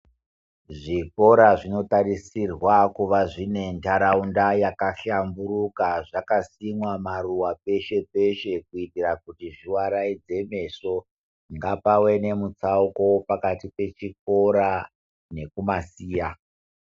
Zvikora zvinotarisirwa kuva zvine ntaraunda yakahlamburuka, zvakasimwa maruwa peshe-peshe kuitira kuti zviwaraidze meso. Ngapawe nemutsauko pakati pechikora nekumasiya.